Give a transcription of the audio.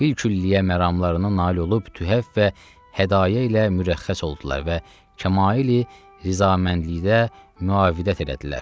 Bilkülliyə məramlarına nail olub, töhfə və hədayə ilə mürəxxəs oldular və Kamal-i rizaməndlikdə müavidət elədilər.